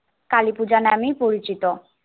কালীপূজা নামেই পরিচিত।